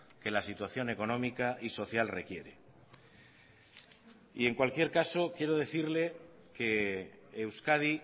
que la situación económica y social requiere y en cualquier caso quiero decirle que euskadi